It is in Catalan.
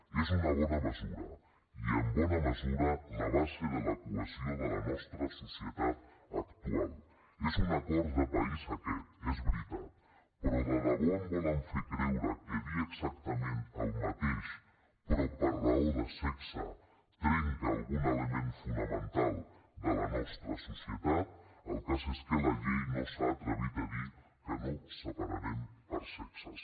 és una bona mesura i en bona mesura la base de la cohesió de la nostra societat actual és un acord de país aquest és veritat però de debò em volen fer creure que dir exactament el mateix però per raó de sexe trenca algun element fonamental de la nostra societat el cas és que la llei no s’ha atrevit a dir que no separarem per sexes